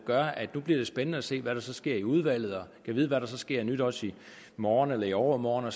gør at det nu bliver spændende at se hvad der så sker i udvalget og gad vide hvad der så sker af nyt også i morgen og i overmorgen og